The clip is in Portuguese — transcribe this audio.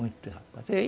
Muitos rapazes, e ai